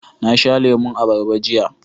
Na sha lemon abarba jiya